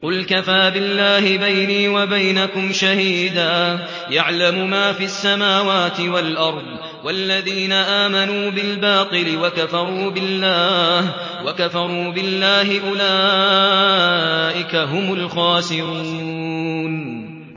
قُلْ كَفَىٰ بِاللَّهِ بَيْنِي وَبَيْنَكُمْ شَهِيدًا ۖ يَعْلَمُ مَا فِي السَّمَاوَاتِ وَالْأَرْضِ ۗ وَالَّذِينَ آمَنُوا بِالْبَاطِلِ وَكَفَرُوا بِاللَّهِ أُولَٰئِكَ هُمُ الْخَاسِرُونَ